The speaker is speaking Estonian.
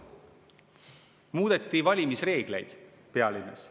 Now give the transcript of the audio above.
… muudeti valimisreegleid pealinnas.